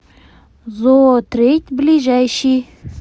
зоотрейд ближайший